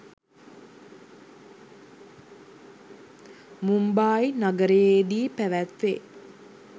මුම්බායි නගරයේදී පැවැත්වේ.